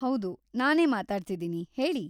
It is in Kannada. ಹೌದು, ನಾನೇ ಮಾತಾಡ್ತಿದೀನಿ, ಹೇಳಿ.